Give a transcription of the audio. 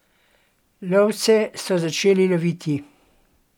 Lovce so začeli loviti!